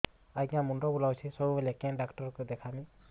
ଆଜ୍ଞା ମୁଣ୍ଡ ବୁଲାଉଛି ସବୁବେଳେ କେ ଡାକ୍ତର କୁ ଦେଖାମି